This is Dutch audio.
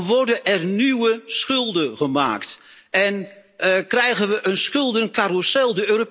Dan worden er nieuwe schulden gemaakt en krijgen we een schuldencarrousel.